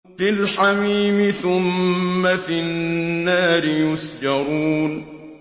فِي الْحَمِيمِ ثُمَّ فِي النَّارِ يُسْجَرُونَ